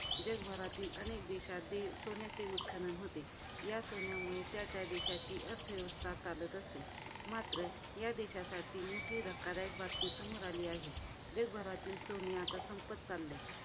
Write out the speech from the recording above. जगभरातील अनेक देशात हे सोन्याचे उत्खनन होते. या सोन्यामुळे त्या त्या देशाची अर्थव्यवस्था चालत असते. मात्र, या देशासाठी मोठी धक्कादायक बातमी समोर आलेली आहे. जगभरातील सोने आता संपत चाललेले आहे.